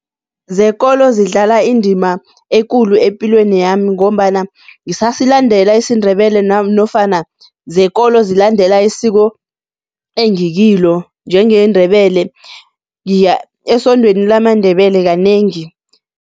Zekolo zidlala indima ekulu epilweni yami ngombana ngisasilandela isiNdebele nofana zekolo zilandela isiko engikilo, njengeNdebele ngiya esondweni lamaNdebele kanengi.